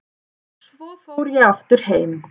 Svo fór ég aftur heim.